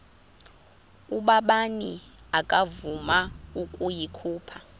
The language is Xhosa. ubabini akavuma ukuyikhupha